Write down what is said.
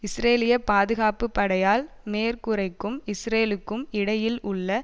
இஸ்ரேலிய பாதுகாப்பு படையால் மேற்கு கரைக்கும் இஸ்ரேலுக்கும் இடையில் உள்ள